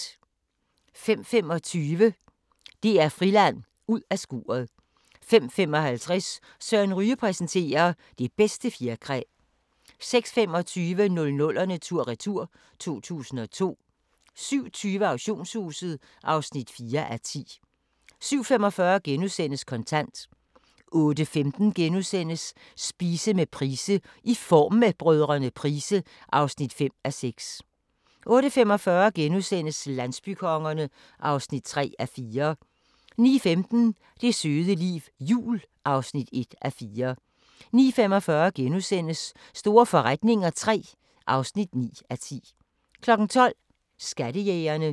05:25: DR Friland: Ud af skuret 05:55: Søren Ryge præsenterer: Det bedste fjerkræ 06:25: 00'erne tur-retur: 2002 07:20: Auktionshuset (4:10) 07:45: Kontant * 08:15: Spise med Price: "I Form med Brdr. Price" (5:6)* 08:45: Landsbykongerne (3:4)* 09:15: Det søde liv – jul (1:4) 09:45: Store forretninger III (9:10)* 12:00: Skattejægerne